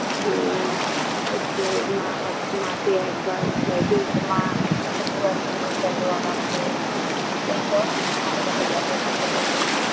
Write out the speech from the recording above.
Hmm একটু মা হোছ মাসে এক বার চাই দুবার মা একটু ঘুরাতে নিয়ে চলো আমাকে এই সব ভাল্লাগে বাচ্চাটাকে